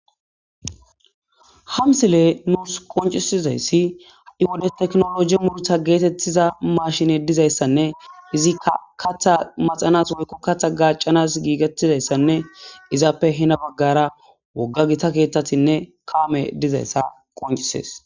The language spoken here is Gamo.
Ha misiley nunsu qoncisizayas ha' wode tekino loge muruta getetiza mashiney dizaysanne izika katha makiza woyko gacanas gigetidasanne izape hena bagara woga gita kethatinne kamey dizaysa qoncises